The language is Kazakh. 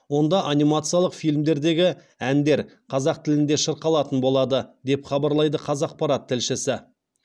онда анимациялық фильмдердегі әндер қазақ тілінде шырқалатын болады деп хабарлайды қазақпарат тілшісі